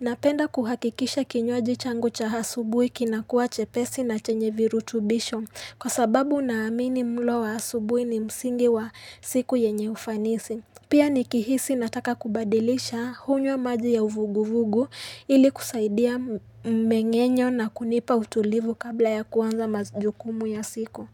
Napenda kuhakikisha kinywaji changu cha asubuhi kinakuwa chepesi na chenye virutubisho, kwa sababu naamini mlo wa asubuhi ni msingi wa siku yenye ufanisi. Pia nikihisi nataka kubadilisha hunywa maji ya uvuguvugu ili kusaidia mengenyo na kunipa utulivu kabla ya kuanza majukumu ya siku.